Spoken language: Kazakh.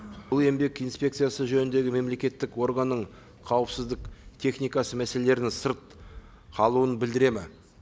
бұл еңбек инспекциясы жөніндегі мемлекеттік органның қауіпсіздік техникасы мәселелерінің сырт қалуын білдіреді ме